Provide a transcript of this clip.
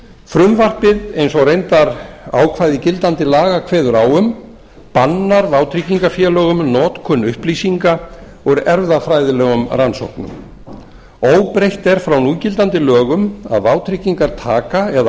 frumvarpið eins og reyndar ákvæði gildandi laga kveður á um bannar vátryggingarfélögum notkun upplýsinga úr erfðafræðilegum rannsóknum óbreytt er frá núgildandi lögum að vátryggingartaka eða